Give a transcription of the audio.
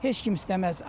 Heç kim istəməz.